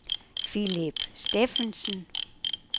Philip Steffensen